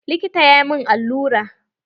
Likitan ya min allura.